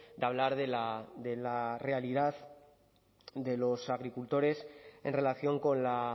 de hablar de la realidad de los agricultores en relación con la